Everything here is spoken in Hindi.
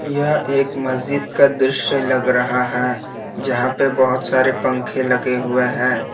यह एक मस्जिद का दृश्य लग रहा है जहां पे बहुत सारे पंखे लगे हुए हैं।